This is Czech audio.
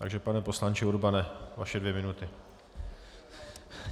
Takže pane poslanče Urbane, vaše dvě minuty.